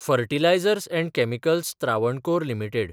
fertilisers आनी Chemicals Travancore limited